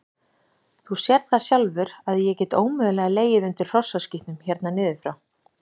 Þú sérð það sjálfur að ég get ómögulega legið undir hrossaskítnum hérna niður frá.